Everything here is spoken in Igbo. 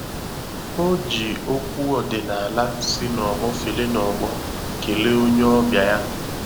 O ji okwu ọdịnala si na ọgbọ fere na ọgbọ kelee onye ọbịa ya.